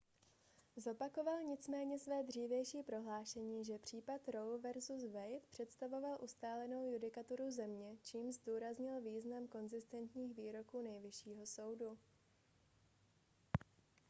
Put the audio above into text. zopakoval nicméně své dřívější prohlášení že případ roe vs wade představoval ustálenou judikaturu země čímž zdůraznil význam konzistentních výroků nejvyššího soudu